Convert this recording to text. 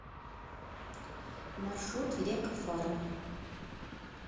маршрут лека фарм